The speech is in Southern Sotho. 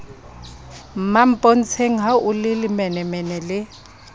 mmampontsheng ha o lelemenemene le